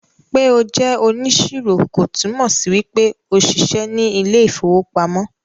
pe o jẹ oniṣiro kò túmọ sí wípé o ṣiṣẹ ní ilè ìfowópamọ́